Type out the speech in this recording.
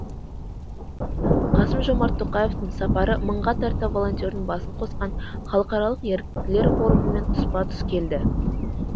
қасым жомарт тоқаевтың сапары мыңға тарта волонтердың басын қосқан халықаралық еріктілер форумымен тұспа тұс келді